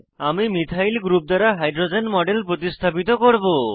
আমরা methyl group দ্বারা hydrogen model প্রতিস্থাপিত করব